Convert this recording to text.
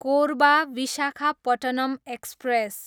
Korba, Visakhapatnam express